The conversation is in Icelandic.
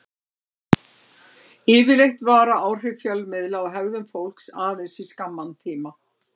Yfirleitt vara áhrif fjölmiðla á hegðun fólks aðeins í skamman tíma.